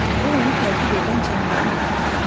Bu onu təqib edən canavarın nəfəsi idi.